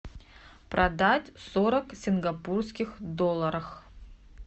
продать сорок сингапурских долларов